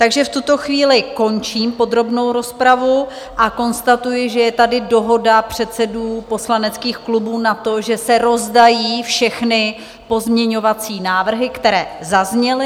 Takže v tuto chvíli končím podrobnou rozpravu a konstatuji, že je tady dohoda předsedů poslaneckých klubů na tom, že se rozdají všechny pozměňovací návrhy, které zazněly.